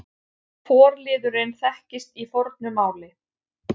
Forliðurinn þekkist í fornu máli.